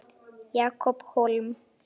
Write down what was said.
Jakob Hólm